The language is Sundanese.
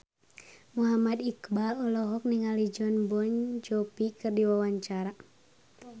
Muhammad Iqbal olohok ningali Jon Bon Jovi keur diwawancara